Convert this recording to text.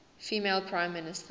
female prime minister